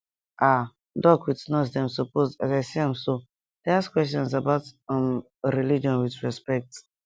ah doc with nurse dem suppose as i see am so dey ask questions about umreligion with respect